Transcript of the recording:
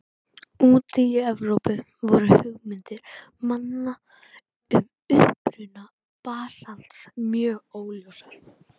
Úti í Evrópu voru hugmyndir manna um uppruna basalts mjög óljósar.